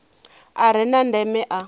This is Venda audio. a re na ndeme a